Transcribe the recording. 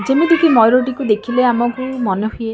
ଯେମିତିକି ମୟୁର ଟିକୁ ଦେଖିଲେ ଆମକୁ ମନେ ହୁଏ--